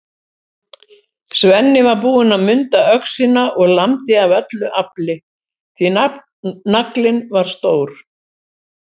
Svenni var búinn að munda öxina og lamdi af öllu afli, því naglinn var stór.